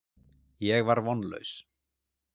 Ég var vonlaus.